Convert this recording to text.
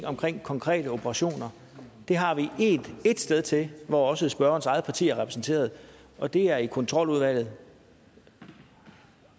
omkring konkrete operationer har vi ét sted til det hvor også spørgerens eget parti er repræsenteret og det er i kontroludvalget